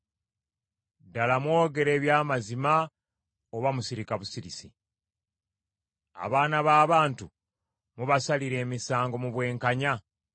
Ddala mwogera eby’amazima oba musirika busirisi? Abaana b’abantu mubasalira emisango mu bwenkanya?